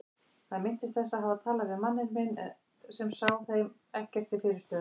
Hann minnist þess að hafa talað við manninn minn sem sá þeim ekkert til fyrirstöðu.